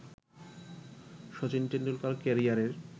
শচীন টেন্ডুলকার ক্যারিয়ারের